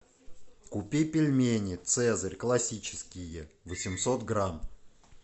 купи пельмени цезарь классические восемьсот грамм